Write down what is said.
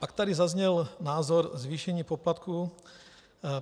Pak tady zazněl názor - zvýšení poplatků.